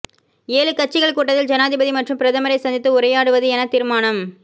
ஏழு கட்சிகள் கூட்டத்தில் ஜனாதிபதி மற்றும் பிரதமரைச் சந்தித்து உரையாடுவது என தீர்மானம்